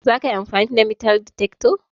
zakayi amfani da metal detector?